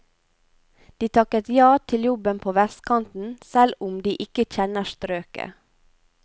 De takket ja til jobben på vestkanten, selv om de ikke kjenner strøket.